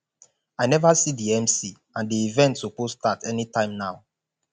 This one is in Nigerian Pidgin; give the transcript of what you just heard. i never see the mc and the event suppose start anytime now